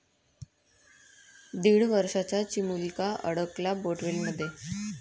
दीड वर्षाचा चिमुलका अडकला बोअरवेलमध्ये